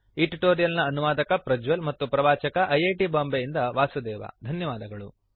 ಈ ಟ್ಯುಟೋರಿಯಲ್ ನ ಅನುವಾದಕ ಪ್ರಜ್ವಲ್ ಮತ್ತು ಪ್ರವಾಚಕ ಐಐಟಿ ಬಾಂಬೆಯಿಂದ ವಾಸುದೇವ ಧನ್ಯವಾದಗಳು